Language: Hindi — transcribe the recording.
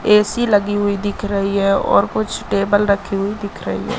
ए_सी लगी हुई दिख रही है और कुछ टेबल रखी हुई दिख रही है।